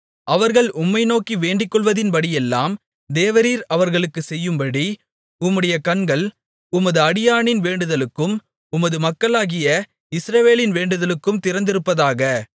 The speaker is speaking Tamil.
அவர்கள் உம்மை நோக்கி வேண்டிக்கொள்வதின்படியெல்லாம் தேவரீர் அவர்களுக்குச் செய்யும்படி உம்முடைய கண்கள் உமது அடியானின் வேண்டுதலுக்கும் உமது மக்களாகிய இஸ்ரவேலின் வேண்டுதலுக்கும் திறந்திருப்பதாக